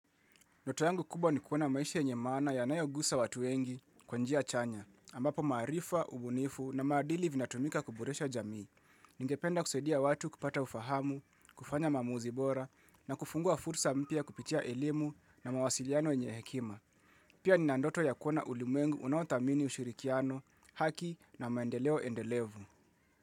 Ndoto yangu kubwa ni kuwa na maisha yenye maana yanayogusa watu wengi kwa njia chanya, ambapo maarifa, ubunifu na maadili vinatumika kuboresha jamii. Ningependa kusaidia watu kupata ufahamu, kufanya maamuzi bora na kufungua fursa mpya kupitia elimu na mawasiliano yenye hekima. Pia nina ndoto ya kuona ulimwengu unauthamini ushirikiano, haki na maendeleo endelevu.